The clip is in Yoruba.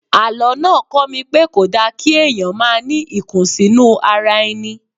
Àlọ́ náà kọ́ mi pé kò da kí èèyàn máa ní ìkùnsínú ara ẹni